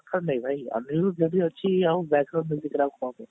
ହଁ ବା ଭାଇ ଆଗରୁ ଯଦି ଅଛି ଆଉ